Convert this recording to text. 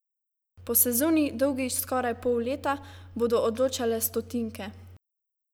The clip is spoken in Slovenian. Po sezoni, dolgi skoraj pol leta, bodo odločale stotinke!